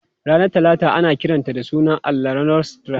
Ranar Talata ana kiranta da sunan allahn Norse Tyr.